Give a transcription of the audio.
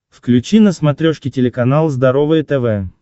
включи на смотрешке телеканал здоровое тв